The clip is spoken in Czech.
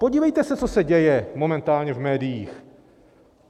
Podívejte se, co se děje momentálně v médiích!